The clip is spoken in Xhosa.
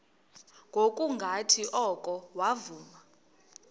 ngokungathi oko wavuma